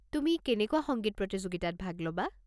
তুমি কেনেকুৱা সংগীত প্ৰতিযোগিতাত ভাগ ল'বা?